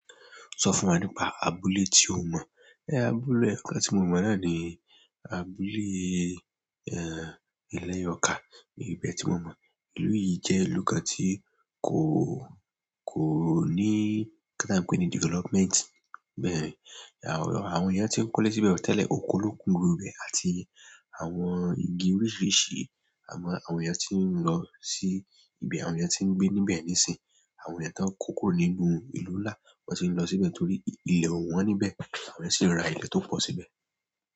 Sọ fún wa nípa abúlé tí o mọ̀. Ehn, abúlé eyokan tí mo mọ̀ náà ni abúlé, ẹ́, ilẹ̀ Yọ̀ka, ní ibẹ tí mo mọ̀. Ìlú yìí jẹ́ ìlú kan tí kò, kò ní, nkan ti a ń pè ni, development. Bẹ́ẹ̀, àwọn eyan tí ń kọ́lé síbẹ̀ o, tẹ́lẹ̀, oko ló ń ku ni gbogbo ibẹ̀ àti àwọn igi oríṣiríṣi. Àmọ́ àwọn èèyàn tí ń lọ sí ibẹ̀, àwọn èèyàn tí ń gbé níbẹ̀ nísìnyí, àwọn èèyàn tó ń kókurò nínú ìlú ńlá, wọ́n ti ń lọ síbẹ̀ torí ilẹ̀ ò wọ́n níbẹ̀, àwọn eyan sì ń ra ilẹ̀ tó pọ̀ síbẹ̀.